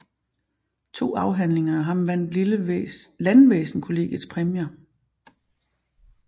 To afhandlinger af ham vandt Landvæsenskollegiets præmier